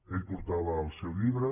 ell portava el seu llibre